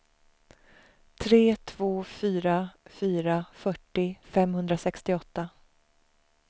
tre två fyra fyra fyrtio femhundrasextioåtta